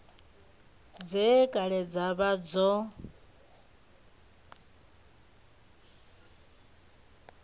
dze kale dza vha dzo